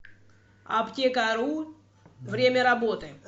аптекару время работы